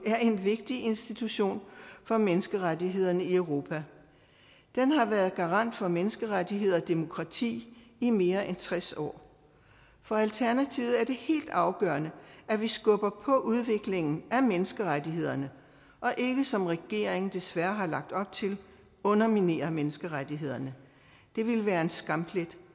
er en vigtig institution for menneskerettighederne i europa den har været garant for menneskerettigheder og demokrati i mere end tres år for alternativet er det helt afgørende at vi skubber på udviklingen af menneskerettighederne og ikke som regeringen desværre har lagt op til underminerer menneskerettighederne det ville være en skamplet